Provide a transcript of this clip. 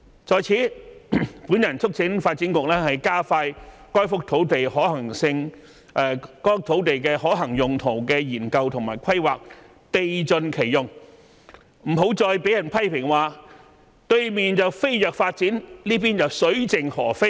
在此，我促請發展局加快該幅土地的可行用途的研究和規劃，地盡其用，不要再被人批評"對面飛躍發展，這裏卻水盡鵝飛"。